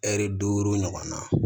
Ɛri duuru ɲɔgɔnna